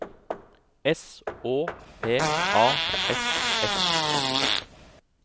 S Å P A S S